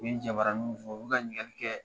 U jabaraninw fɔ u bɛ ka ɲininkali kɛ